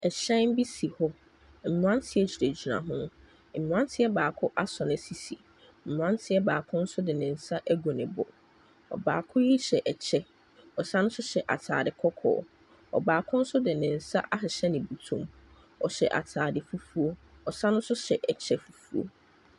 Hyɛn bi si hɔ, mmeranteɛ gyinagyina ho, mmeranteɛ baako asɔ ne sisi, mmeranteɛ baako nso de ne nsa agu ne bo. Ɔbaako yi hyɛ kyɛ, ɔsan hyɛ ataade kɔkɔɔ, ɔbaako nso de ne nsa ahyehyɛ ne bɔtɔ mu. Ɔhyɛ ataade fufuo, ɔsan so hyɛ kyɛ fufuo.